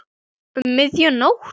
Um miðja nótt?